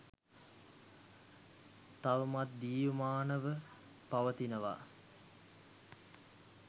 තවමත් ජීවමානව පවතිනවා